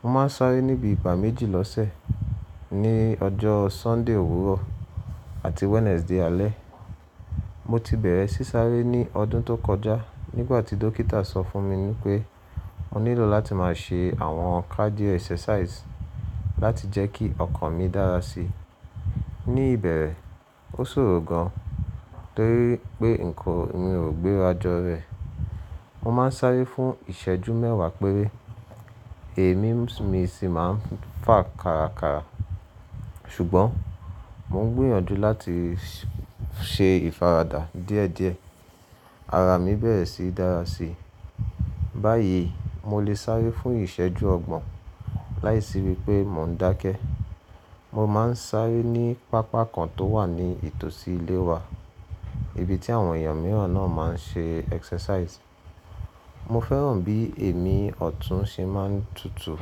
Mo máa ń sáré ní bii ìgbà méjì lọ́sẹ̀, ní ọjọ́ Sunday òwúrọ̀ àti Wednesday alẹ́. Mo ti bẹ̀rẹ̀ sí sáré ní ọdún tó kọjá nígbàtí dókítà sọ fún mi wípé mo nílò láti máa ṣe àwọn cardio exercise láti jẹ́ kí ọkàn mi dára si. Ní ìbẹ̀rẹ̀, ó ṣòro gan torí pé nǹkan mi ò gbéra jọ rẹ̀. Mo máa ń sáré fún ìṣẹ́jú mẹ́wàá péré, èémí mi sì máa ń fà karakara. Ṣùgbọ́n mo ń gbìyànjú láti ṣe ìfaradà díẹ̀díẹ̀. Ara mi bẹ̀rẹ̀ sí dára si. Báyìí, mo lè sáré fún ìṣẹ́jú ọgbọ̀n láìsí wípé mo ń dákẹ. Mo máa ń sáré ní pápá kan tó wà ní ìtòsí ilé wa, ibi tí àwọn èèyàn mìíràn náà máa ń ṣe exercise. Mo fẹ́ràn bí èémí ọ̀tún ṣe máa ń tutù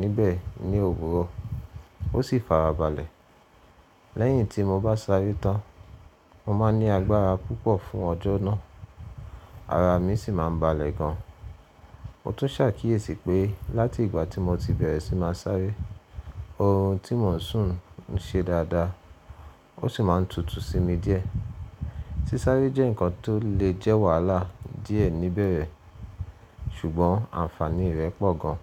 níbẹ̀ ní òwúrọ̀, ó sì fàrá balẹ̀. Lẹ́yìn tí mo bá sáré tán, mo máa ní agbára púpọ̀ fún ọjọ́ náà, ara mi sì máa ń balẹ̀ gan. Mo tún ṣàkíyèsí pé láti ìgbà tí mo ti bẹ̀rẹ̀ sí máa sáré, ohun tí mò ń sùn ń ṣe dáadáa, ó sì máa ń tutù sí mi díẹ̀. Sísáré jẹ́ nǹkan tó lè jẹ́ wàhálà díẹ̀ níbẹ̀rẹ̀, ṣùgbọ́n ànfàní rẹ̀ pọ̀ gan.